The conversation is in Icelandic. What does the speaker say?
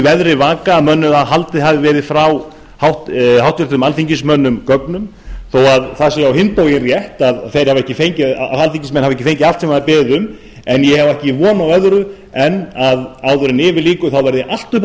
veðri vaka um að gögnum hafi verið haldið frá háttvirtum alþingismönnum þó að á hinn bóginn sé rétt að þeir hafi ekki fengið allt sem þeir hafa beðið um ég á ekki von á öðru en að áður en yfir lýkur verði allt uppi á